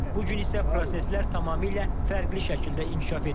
Bu gün isə proseslər tamamilə fərqli şəkildə inkişaf edir.